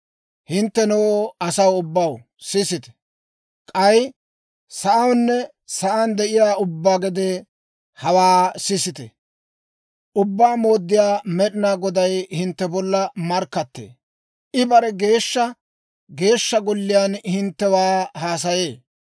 Hinttenoo, asaw ubbaw, sisite! K'ay sa'awunne sa'aan de'iyaa ubbaa gede, hawaa sisite! Ubbaa Mooddiyaa Med'ina Goday hintte bolla markkattee; I bare geeshsha Geeshsha Golliyaan hinttewaa haasaye.